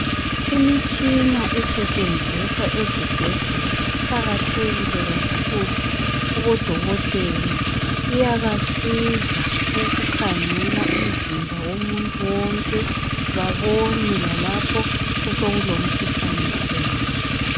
Imitshina esetshenziswa ezibhedlela iqakathekile kakhulu kubodokotela. Iyabasiza ukukhangela umzimba womuntu wonke babone lalapho osekulomkhuhlane khona.